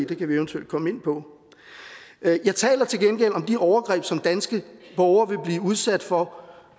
det kan vi eventuelt komme ind på jeg jeg taler til gengæld om de overgreb som danske borgere vil blive udsat for